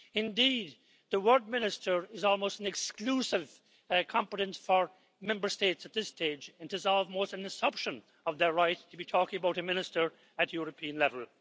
Indeed, the word minister' is almost an exclusive competence for Member States at this stage, and it is almost an usurpation of their right to be talking about a minister at European level.